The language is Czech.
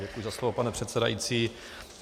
Děkuji za slovo, pane předsedající.